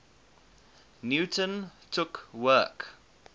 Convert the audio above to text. newton took work